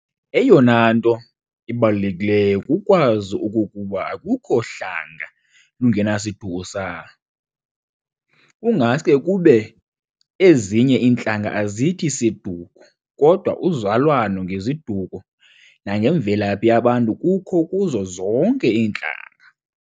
Eyona nto ibalulekileyo kukwazi okokuba akukho hlanga lungenasiduko salo, kungaske kube ezinye intlanga azithi 'siduko' kodwa uzalwano ngeziduko nangemvelaphi yabantu kukho kuzo zonke iintlanga.